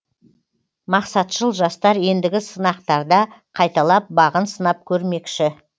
мақсатшыл жастар ендігі сынақтарда қайталап бағын сынап көрмекші